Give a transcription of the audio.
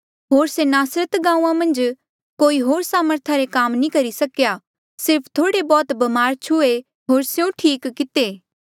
होर से नासरता गांऊँआं मन्झ कोई होर सामर्था रे काम नी करी सकेया सिर्फ थोड़े बौह्त ब्मारा छुहे होर स्यों ठीक किते